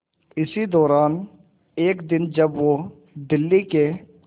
इसी दौरान एक दिन जब वो दिल्ली के